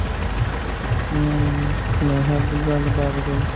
ਹਮ ਨੇਹਾ ਦੀ ਗੱਲ ਬਾਤ ਕੋਈ